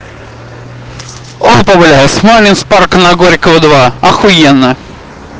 он позволяет смоленск парка горького две охуенно